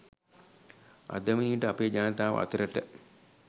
අද වනවිට අපේ ජනතාව අතරට